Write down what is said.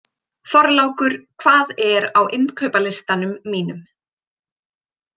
Þorlákur, hvað er á innkaupalistanum mínum?